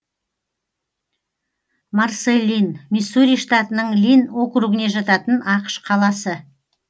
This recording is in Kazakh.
марсэлин миссури штатының линн округіне жататын ақш қаласы